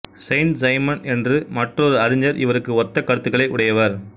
Saint Simon என்று மற்றொரு அறிஞா் இவருக்கு ஒத்த கருத்துக்களை உடையவா்